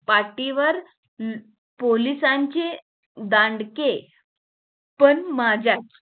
पाठीवर पोलिसांचे दांडके पण माझ्यात